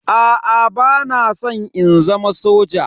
Aa bana san in zama soja.